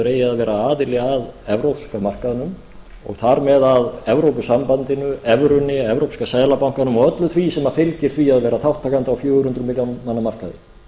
eigi að vera aðili að evrópska markaðnum og þar með að evrópusambandinu evrunni evrópska seðlabankanum og öllu því sem fylgir því að vera þátttakandi á fjögur hundruð milljóna manna markaði